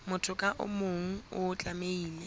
motho ka mong o tlamehile